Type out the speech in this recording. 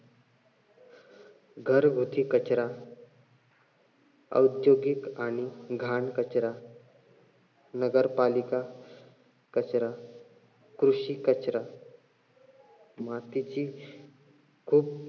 घरगुती कचरा औद्योगिक आणि घाण कचरा नगरपालिका कचरा कृषी कचरा मातीची खूप